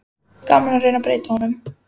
Gaman að reyna að breyta honum.